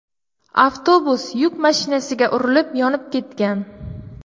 Avtobus yuk mashinasiga urilib, yonib ketgan.